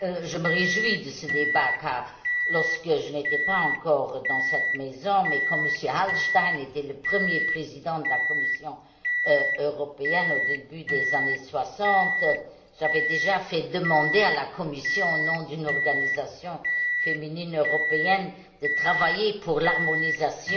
Monsieur le Président, je me réjouis de ce débat, car lorsque je n'étais pas encore dans cette maison, quand M. Hallstein était le premier président de la Commission européenne au début des années 60, j'avais déjà fait demander à la Commission, au nom d'une organisation féminine européenne, de travailler à l'harmonisation